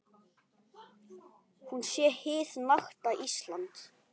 Hún sé hið nakta Ísland.